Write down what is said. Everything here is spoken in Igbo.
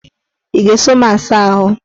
Ị ga-eso m saa ahụ?